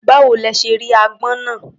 Báwo lẹ ṣe rí agbọ́n náà?